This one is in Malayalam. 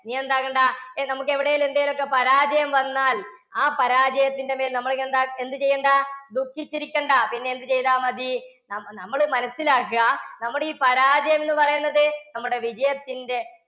നീയെന്താക്കണ്ടാ നമുക്ക് എവിടെയെങ്കിലും എന്തെങ്കിലുമൊക്കെ പരാജയം വന്നാൽ ആ പരാജയത്തിന്റെ മേൽ നമ്മളെന്താ എന്ത് ചെയ്യണ്ടാ ദുഖിച്ചിരിക്കേണ്ട. പിന്നെ എന്ത് ചെയ്താൽ മതി? നമ്മ ~നമ്മൾ മനസ്സിലാക്കുക, നമ്മുടെ ഈ പരാജയം എന്ന് പറയുന്നത് നമ്മുടെ വിജയത്തിൻറെ